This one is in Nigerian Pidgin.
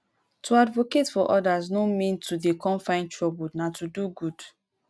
to advocate for odas no mean to dey come find trouble nah to do good